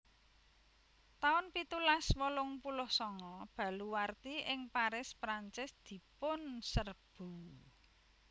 taun pitulas wolung puluh sanga Baluwarti ing Paris Prancis dipunserbu